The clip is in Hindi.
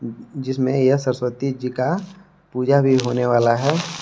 जिसमें यह सरस्वती जी का पूजा भी होने वाला है।